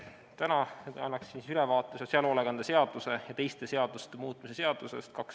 Täna annan ülevaate sotsiaalhoolekande seaduse ja teiste seaduste muutmise seadusest.